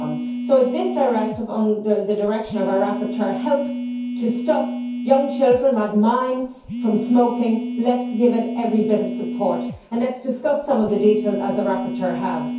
So if this Directive under the direction of our rapporteur helps to stop young children like mine from smoking, let us give it every bit of support and let us discuss some of the details as the rapporteur has.